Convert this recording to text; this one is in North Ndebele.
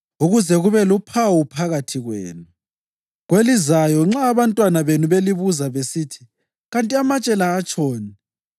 ukuze kube luphawu phakathi kwenu. Kwelizayo nxa abantwana benu belibuza besithi, ‘Kanti amatshe la atshoni?’